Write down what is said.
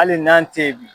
Hali n'an tɛ yen bi